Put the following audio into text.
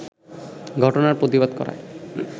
ঘটনার প্রতিবাদ করায়